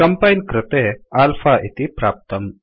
compile कृते alpha इति प्राप्तम्